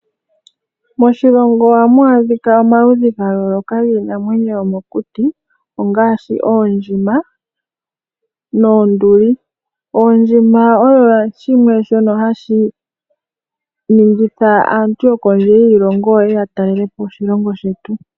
Moshilongo ohamu adhika omaludhi ga yooloka giinamwenyo yomokuti ngaashi oondjima noonduli. Oondjima osho shimwe shono hashi ningitha aantu yokondje yiilongo ye ye ya talele po oshilongo shetu.